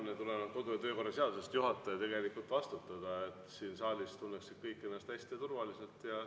See on tulenevalt kodu‑ ja töökorra seadusest tegelikult juhataja vastutada, et kõik siin saalis tunneksid ennast hästi ja turvaliselt.